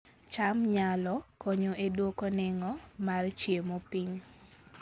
cham nyalo konyo e dwoko nengo mar chiemo piny